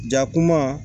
Jakuma